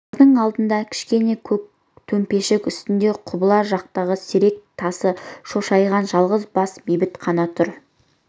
бұлардың алдында кішкене көк төмпешік үстінде құбыла жақтағы серек тасы шошайған жалғыз бас бейіт қана тұр